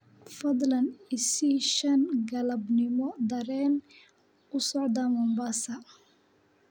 fadlan i sii 5 galabnimo tareen u socda Mombasa